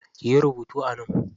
Kiyi rubutu a nan.